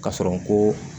K'a sɔrɔ ko